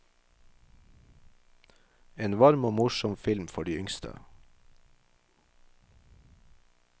En varm og morsom film for de yngste.